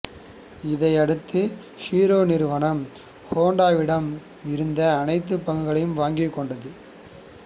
இதையடுத்து ஹீரோ நிறுவனம் ஹோண்டாவிடம் இருந்த அனைத்து பங்குகளையும் வாங்கிக் கொண்டது